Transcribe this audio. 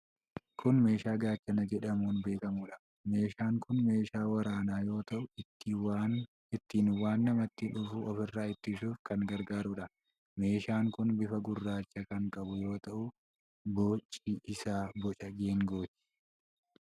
Kun meeshaa gaachana jedhamuun beekamudha. Meeshaan kun meeshaa waraanaa yoo ta'u ittiin waan namatti dhufu ofirraa ittisuuf kan gargaarudha. Meeshaan kun bifa gurraacha kan qabu yoo ta'u boci isaa boca geengooti.